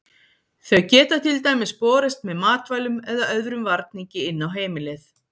þau geta til dæmis borist með matvælum eða öðrum varningi inn á heimilið